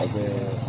A bɛ